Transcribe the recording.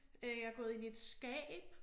Øh jeg gået ind i et skab